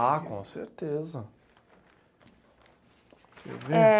Ah, com certeza. É